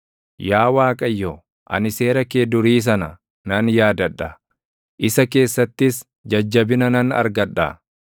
Yaa Waaqayyo, ani seera kee durii sana nan yaadadha; isa keessattis jajjabina nan argadha.